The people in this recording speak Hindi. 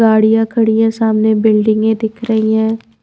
गाड़ियां खड़ी हैं सामने बिल्डिंगें दिख रही हैं।